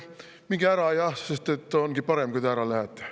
Minge ära jah, sest ongi parem, kui te ära lähete.